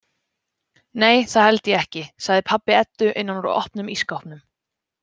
Nei, það held ég ekki, sagði pabbi Eddu innan úr opnum ísskápnum.